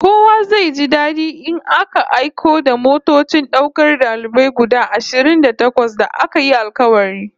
Kowa zai ji dadi in aka aiko da motocin daukar dalibai guda ashirin da takwas da aka yi alkawari